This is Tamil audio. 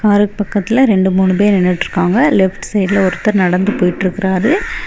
காருக்கு பக்கத்தில ரெண்டு மூணு பேர் நின்னுற்றுக்காங்க லெப்ட் சைடுல ஒருத்தர் நடந்து போய்ற்றுக்குராரு.